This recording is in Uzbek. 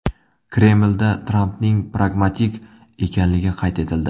Kremlda Trampning pragmatik ekanligi qayd etildi.